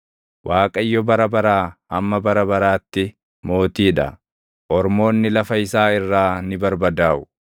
Waaqayyo bara baraa hamma bara baraatti Mootii dha; ormoonni lafa isaa irraa ni barbadaaʼu.